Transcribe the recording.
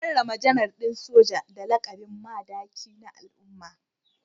An karrama Janar din Soja da lakabin Madaki na al’umma